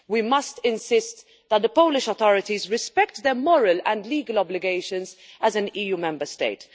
We must insist that the Polish authorities respect their moral and legal obligations as an EU Member State.